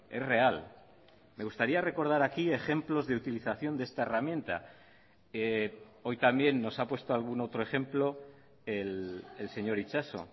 es real me gustaría recordar aquí ejemplos de utilización de esta herramienta hoy también nos ha puesto algún otro ejemplo el señor itxaso